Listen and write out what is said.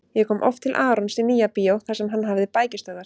Ég kom oft til Arons í Nýja-bíó þar sem hann hafði bækistöðvar.